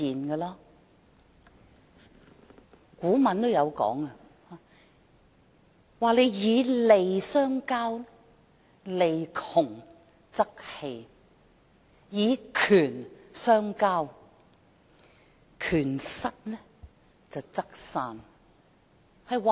古語有云："以利相交，利盡則散；以權相交，權失則棄。